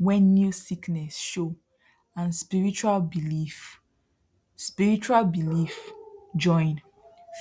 when new sickness show and spiritual belief spiritual belief join